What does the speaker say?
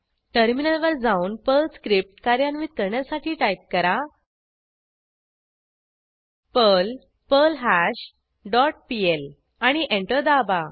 टर्मिनलवर जाऊन Perl script कार्यान्वित करण्यासाठी टाईप करा पर्ल पर्ल्हाश डॉट पीएल आणि एंटर दाबा